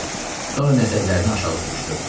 Sonra nəzərlərini aşağı sürüşdürdü.